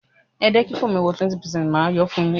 Rí i pé gbogbo ohun tí yóò kọ́ ọ nínú èdè náà ló yé ọ